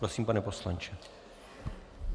Prosím, pane poslanče.